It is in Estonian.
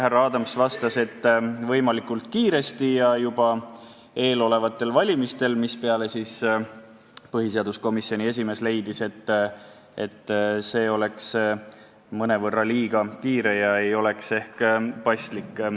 Härra Adams vastas, et võimalikult kiiresti ja juba eelolevatel valimistel, mispeale põhiseaduskomisjoni esimees leidis, et see oleks mõnevõrra liiga kiire ega oleks ehk paslik.